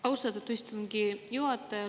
Austatud istungi juhataja!